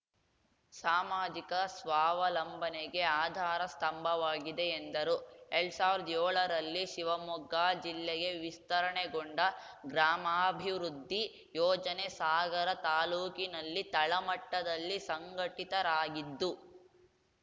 ಸಾಮಾಜಿಕ ಸ್ವಾವಲಂಬನೆಗೆ ಆಧಾರ ಸ್ಥಂಭವಾಗಿದೆ ಎಂದರು ಎಲ್ಡ್ ಸಾವಿರ್ದಾ ಯೋಳರಲ್ಲಿ ಶಿವಮೊಗ್ಗಾ ಜಿಲ್ಲೆಗೆ ವಿಸ್ತರಣೆಗೊಂಡ ಗ್ರಾಮಾಭಿವೃದ್ಧಿ ಯೋಜನೆ ಸಾಗರ ತಾಲೂಕಿನಲ್ಲಿ ತಳಮಟ್ಟದಲ್ಲಿ ಸಂಘಟಿತರಾಗಿದ್ದು